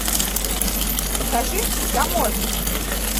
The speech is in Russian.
покажи таможня